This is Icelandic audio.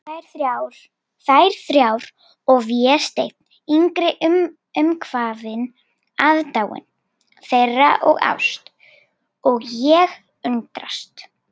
Þær þrjár og Vésteinn yngri umvafinn aðdáun þeirra og ást, og ég undrast.